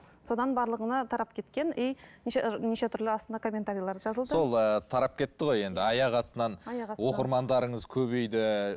содан барлығына тарап кеткен и неше неше түрлі астына комментарилер жазылды сол ы тарап кетті ғой енді аяқ астынан оқырмандарыңыз көбейді